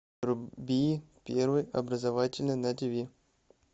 вруби первый образовательный на тиви